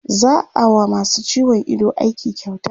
za'a wa masu ciwon Ido aiki kyauta